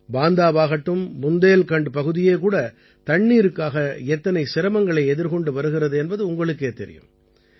பாந்தாவாகட்டும் புந்தேல்கண்ட் பகுதியே கூட தண்ணீருக்காக எத்தனை சிரமங்களை எதிர்கொண்டு வருகிறது என்பது உங்களுக்கே தெரியும்